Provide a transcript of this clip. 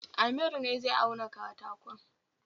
Amir ne zai auna katakon